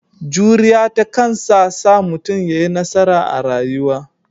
Juriya ta kansa sa mutum ya yi nasara a rayuwa.